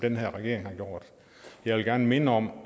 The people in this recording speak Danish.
den her regering har gjort jeg vil gerne minde om at